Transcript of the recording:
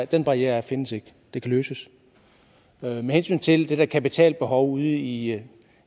den barriere findes ikke det kan løses med hensyn til det der kapitalbehov ude i